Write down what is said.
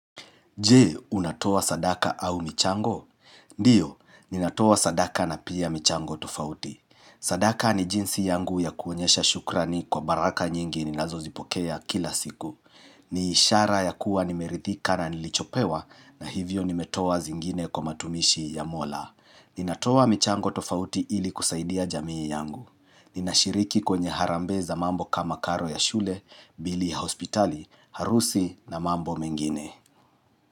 Je, unatoa sadaka au michango? Ndio, ninatoa sadaka na pia michango tofauti. Sadaka ni jinsi yangu ya kuonyesha shukra ni kwa baraka nyingi ni nazo zipokea kila siku. Ni ishara ya kuwa nimerithika na nilichopewa na hivyo nimetoa zingine kwa matumishi ya Mola. Ninatoa michango tofauti ili kusaidia jamii yangu. Ninashiriki kwenye harambee za mambo kama karo ya shule, bili ya hospitali, harusi na mambo mengine.